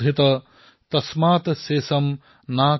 তস্মাৎ শোষম ন কাৰয়েৎ